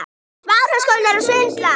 Ég á að muna það.